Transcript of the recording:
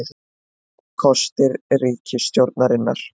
Þrír kostir ríkisstjórnarinnar